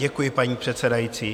Děkuji, paní předsedající.